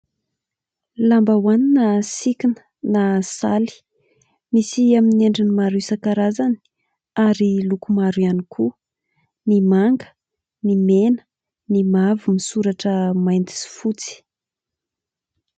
Lambahoany na sikina na saly, misy amin'ny endriny maro isankarazany ary loko maro ihany koa : ny manga, ny mena, ny mavo misoratra mainty sy fotsy.